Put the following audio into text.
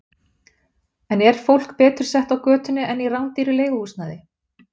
En er fólk betur sett á götunni eða í rándýru leiguhúsnæði?